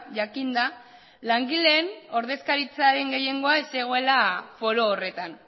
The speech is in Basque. jakinda langileen ordezkaritzaren gehiengoa ez zegoela foro horretan